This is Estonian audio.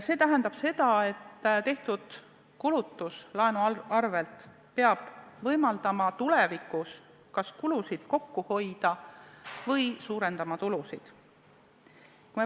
See tähendab seda, et laenu abil tehtud kulutused peavad võimaldama tulevikus kas kulusid kokku hoida või tulusid suurendada.